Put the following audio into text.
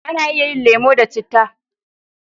A na iya yin lemo da citta